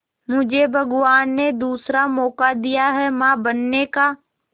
मुझे भगवान ने दूसरा मौका दिया है मां बनने का